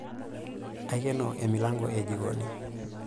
Aikeno emilanko e jikoni.